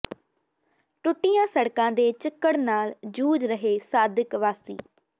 ਟੁੱਟੀਆਂ ਸੜਕਾਂ ਦੇ ਚਿੱਕੜ ਨਾਲ ਜੂਝ ਰਹੇ ਸਾਦਿਕ ਵਾਸੀ